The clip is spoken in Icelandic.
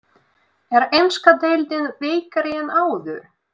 Er enska deildin veikari en áður?